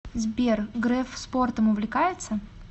сбер греф спортом увлекается